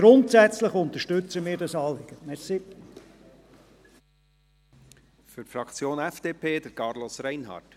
Grundsätzlich unterstützen wir dieses Anliegen.